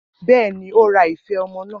Bẹ́ẹ̀ ni, ó ra ife ọmọ náà